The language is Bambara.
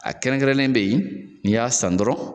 A kɛrɛnkɛrɛnnen de n'i y'a san dɔrɔn